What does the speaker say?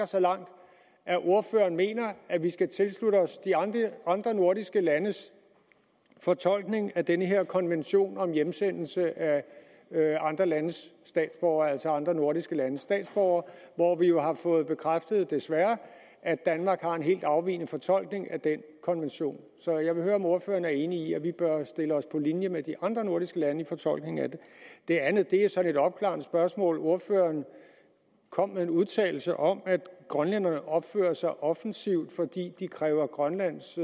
så langt at ordføreren mener at vi skal tilslutte os de andre nordiske landes fortolkning af den her konvention om hjemsendelse af andre landes statsborgere altså andre nordiske landes statsborgere hvor vi jo har fået bekræftet desværre at danmark har en helt afvigende fortolkning af den konvention så jeg vil høre om ordføreren er enig i at vi bør stille os på linje med de andre nordiske lande i fortolkningen af den det andet er sådan et opklarende spørgsmål ordføreren kom med en udtalelse om at grønlænderne opfører sig offensivt fordi de kræver grønlands